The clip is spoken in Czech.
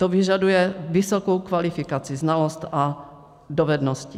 To vyžaduje vysokou kvalifikaci, znalosti a dovednosti.